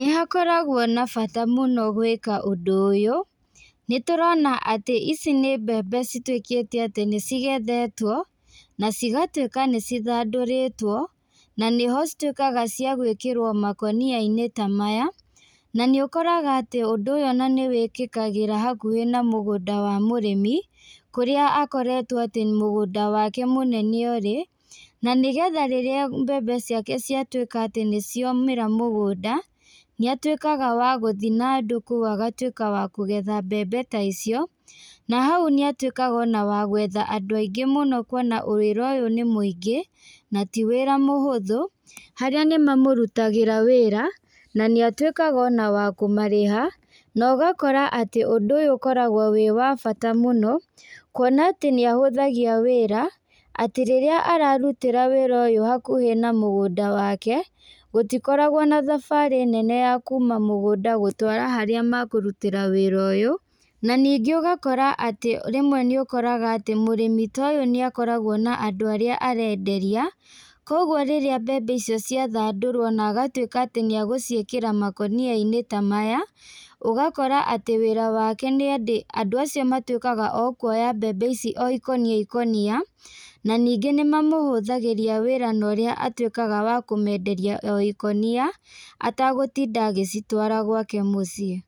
Nĩhakoragwo na bata mũno gwĩka ũndũ ũyũ, nĩ tũrona atĩ ici nĩ mbembe cituĩkĩte atĩ nĩcigethetwo, na cigatuĩka nĩcithandũrĩtwo, na nĩho cituĩkaga cia gwĩkĩrwo makonia-inĩ ta maya, na nĩũkoraga atĩ ũndũ ũyũ ona nĩwĩkĩkagĩra hakuhĩ na mũgũnda wa mũrĩmi, kũrĩa akoretwo atĩ mũgũnda wake mũnene ũrĩ, nanĩgetha rĩrĩa mbembe ciake ciatuĩka atĩ nĩciomĩra mũgũnda, nĩatuĩkaga wa gũthi na andũ kuũ agatuĩka wa kũgetha mbembe ta icio, na hau nĩatuĩkaga ona wa gwetha andũ aingĩ mũno kuona wĩra ũyũ nĩ mũingĩ, na ti wĩra mũhũthũ, harĩa nĩmamũrutagĩra wĩra, na nĩatuĩkaga ona wa kũmarĩha, na ũgakora atĩ ũndũ ũyũ ũkoragwo wĩ wwa bata mũno, kuona atĩ nĩahũthagia wĩra, atĩ rĩrĩa ararutĩra wĩra ũyũ hakuhĩ na mũgũnda wake, gũtikoragwo na thabarĩ nene ya kuma mũgũnda gũtwara harĩa makũrutĩra wĩra ũyũ, na ningĩ ũgakora atĩ rĩmwe nĩũkoraga atĩ mũrimi ta ũyũ nĩakoragwo na andũ arĩa arenderia, koguo rĩrĩa mbembe icio ciathandũrwo na agatuĩka atĩ nĩagũciĩkĩra makoniainĩ ta maya, ũgakora atĩ wĩra wake nĩatĩ andũ acio matuĩkaga o kuoya mbembe o ikũnia ikũnia, na ningĩ nĩmamũhũthagĩria wĩra na ũrĩa atuĩkaga wa kũmenderia o ikũnia, atagũtinda agĩcitwara gwake mũciĩ.